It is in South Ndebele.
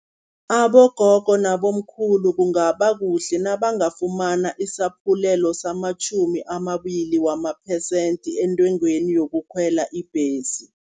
Abogogo nabomkhulu kungaba kuhle nabangafumana isaphulelo, samatjhumi amabili wamaphesenthi entengweni yokukhwela ibhesi.